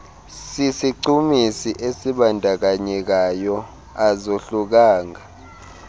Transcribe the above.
sisichumisi esibandakanyekayo azohlukanga